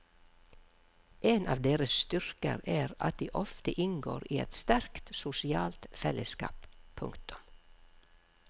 En av deres styrker er at de ofte inngår i et sterkt sosialt fellesskap. punktum